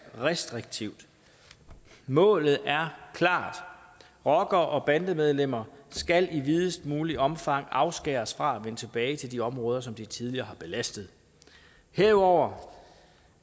restriktivt målet er klart rockere og bandemedlemmer skal i videst muligt omfang afskæres fra at vende tilbage til de områder som de tidligere har belastet herudover